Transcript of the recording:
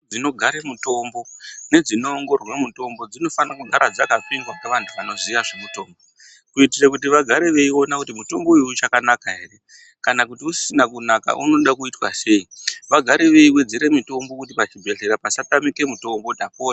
Dzinogare mutombo nedzinoongororwe mitombo dzinofanira kugara dzakapindwa ngevanoziya zvekutombo kuitira kuti vagare veiona kuti mutombo uyu uchakanaka ere kana kuti usisina kunaka unoda kuitwa sei vagare veiwedzera mutombo kiti pachibhedhlera pasatamike mutombo ndapota.